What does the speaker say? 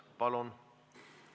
Palun!